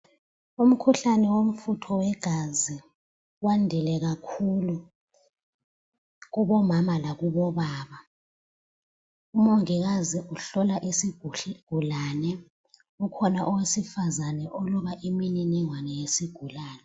Umkhuhlane womfutho wegazi wandile kakhulu kubomama lakubobaba. Umongikazi uhlola isigulane, ukhona owesifazana oloba imininingwane yesigulane